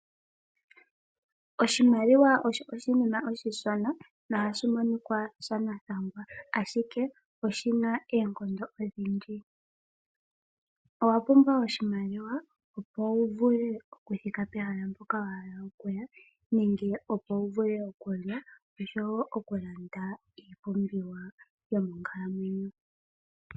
Oshimaliwa osho oshinima oshishona no hashi monika shanathangwa ashike oshina oonkondo odhindji. Owa pumbwa oshimaliwa opo wu vule okuthika pehala mpoka wa hala okuya nenge opo wu vule okulanda iipumbiwa yomonkalamwenyo.